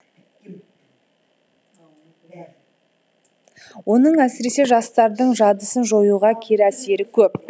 оның әсіресе жастардың жадысын жоюға кері әсері көп